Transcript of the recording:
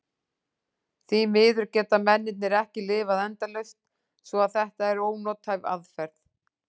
Því miður geta mennirnir ekki lifað endalaust svo að þetta er ónothæf aðferð.